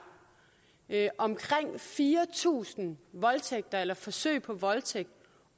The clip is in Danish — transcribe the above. omkring fire tusind voldtægter eller forsøg på voldtægt